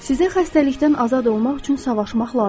Sizə xəstəlikdən azad olmaq üçün savaşmaq lazım deyil.